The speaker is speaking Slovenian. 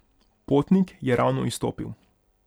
Potnik je ravno izstopil.